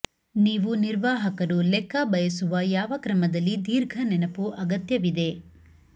ನೀವು ನಿರ್ವಾಹಕರು ಲೆಕ್ಕ ಬಯಸುವ ಯಾವ ಕ್ರಮದಲ್ಲಿ ದೀರ್ಘ ನೆನಪು ಅಗತ್ಯವಿದೆ